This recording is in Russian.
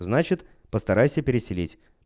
значит постарайся переселить